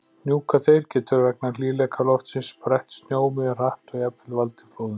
Hnjúkaþeyr getur, vegna hlýleika loftsins, brætt snjó mjög hratt og jafnvel valdið flóðum.